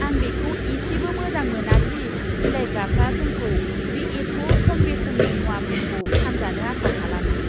आं बेखौ इसेबो मोजां मोना दि बिलाइग्राफ्रा जोंखौ बे एथ' खम बेसेननि मुवाफोरखौ फानजानो आसा खालामो!